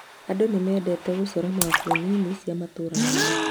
Andũ nĩ mendete gũcora mabu nini cia matũũra mao.